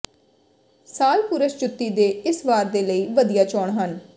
ਸਾਲ ਪੁਰਸ਼ ਜੁੱਤੀ ਦੇ ਇਸ ਵਾਰ ਦੇ ਲਈ ਵਧੀਆ ਚੋਣ ਹਨ